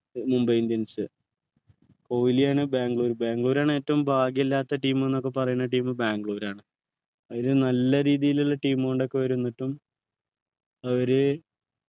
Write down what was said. Mumbai indians കോഹ്ലിയാണ് ബാംഗ്ലൂർ ബാംഗ്ലൂർ ആണ് ഏറ്റവും ഭാഗ്യമില്ലാത്ത team ന്നൊക്കെ പറയണ team ബാംഗ്ലൂർ ആണ് ഒരു നല്ല രീതിയിലുള്ള team കൊണ്ടൊക്കെ വരും എന്നിട്ടും അവര്